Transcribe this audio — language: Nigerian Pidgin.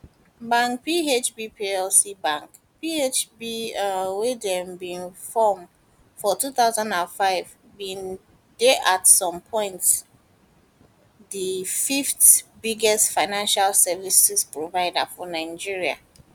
bank phb plc bank phb um wey dem bin form for 2005 bin dey at some point di fith biggest financial services provider for nigeria